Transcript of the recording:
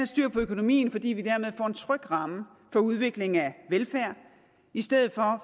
styr på økonomien fordi vi dermed får en tryg ramme for udviklingen af velfærd i stedet for